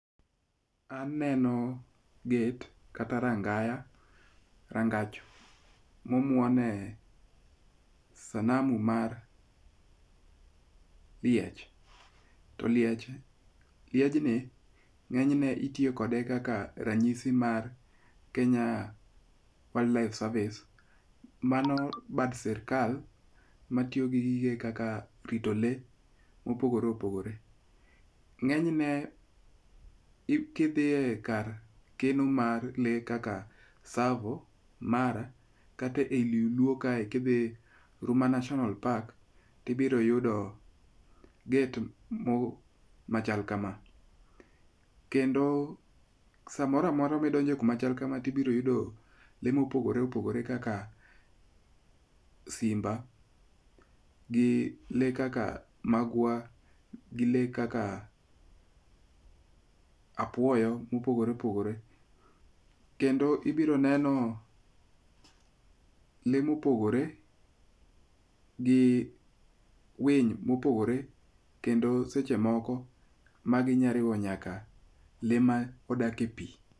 Aneno gate kata rangaya rangach ma omuonie sanamu mar liech. To liech, liejni ng'eny ne itiyo kode kaka ranyisi mar Kenya Wild Life Service. Mano bad sirkal matiyo tije kaka rito lee mopogore opogore. Ng'enyne kidhie kar kano lee kaka Ysavo, Mara kata ei luo kae Ruma National Park, ibiro yudo gate machal kama. Kendo samoro amora ma idonjo kama chal kama, ibiro yudo lee mopogore opogore kaka simba gi lee kaka magwar gi lee kaka apuoyo mopogore opogore. Kendo ibiro neno lee mopogore gi winy ma opogore kendo seche moko ma ginyalo riwo nyaka lee modak e pi.